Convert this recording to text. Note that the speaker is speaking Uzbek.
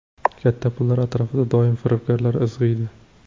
Katta pullar atrofida doim firibgarlar izg‘iydi.